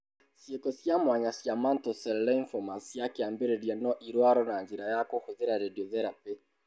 Ciiko cia mwanya cia mantle cell lymphomas cia kĩambĩrĩria no irwarũo na njĩra ya kũhũthĩra radiotherapy.